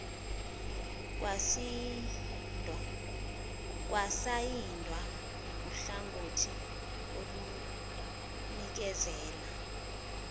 kwasayindwa nguhlangothi olunikezela